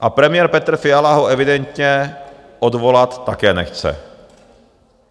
A premiér Petr Fiala ho evidentně odvolat také nechce.